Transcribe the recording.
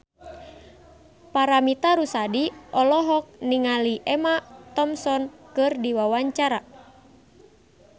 Paramitha Rusady olohok ningali Emma Thompson keur diwawancara